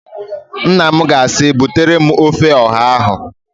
Nnanna m ga-asị, "butere m ofe ọha ahụ"!